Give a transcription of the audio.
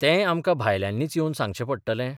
तेंय आमकां भायल्यांनीच येवन सांगचें पडटलें?